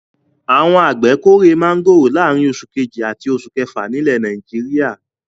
Àwọn àgbẹ̀ kórè máńgòrò láàárin oṣù kejì àti oṣù kefa nílẹ̀ Nàìjíríà.